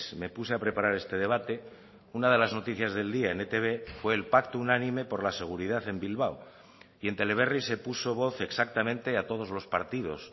me puse a preparar este debate una de las noticias del día en etb fue el pacto unánime por la seguridad en bilbao y en teleberri se puso voz exactamente a todos los partidos